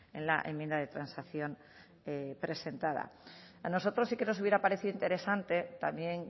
en la enmienda de transacción presentada a nosotros sí que nos hubiera parecido interesante también